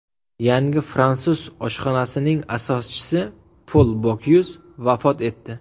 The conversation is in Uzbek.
Yangi fransuz oshxonasining asoschisi Pol Bokyuz vafot etdi.